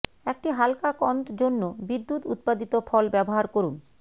একটি হালকা কন্দ জন্য বিদ্যুৎ উৎপাদিত ফল ব্যবহার করুন